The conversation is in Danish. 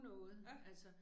Ja